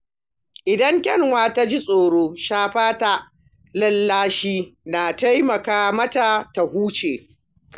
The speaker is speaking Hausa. Idan kyanwa ta ji tsoro, shafa ta da lallashi na taimaka mata ta huce.